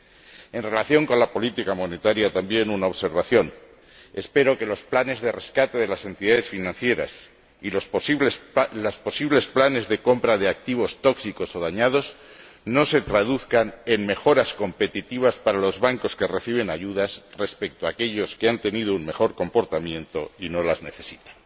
De nuevo en relación con la política monetaria, una observación espero que los planes de rescate de las entidades financieras y los posibles planes de compra de activos tóxicos o dañados no se traduzcan en mejoras competitivas para los bancos que reciben ayudas respecto a aquellos que han tenido un mejor comportamiento y no las necesitan.